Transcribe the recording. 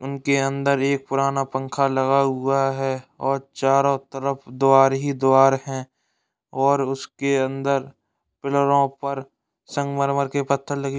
उनके अंदर एक पुराना पंखा लगा हुआ है और चारो तरफ द्वार ही द्वार हैं और उसके अंदर पिल्लरों पर संगमरमर के पत्थर लगे --